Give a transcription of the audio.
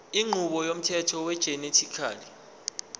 inqubo yomthetho wegenetically